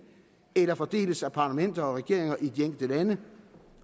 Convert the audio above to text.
eller fordeles af parlamenter og regeringer i de enkelte lande